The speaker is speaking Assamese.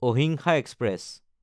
আহিমচা এক্সপ্ৰেছ